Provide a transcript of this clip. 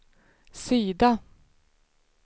sida